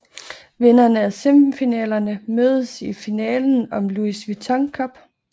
Vinderne af semifinalerne mødes i finalen om Louis Vuitton Cup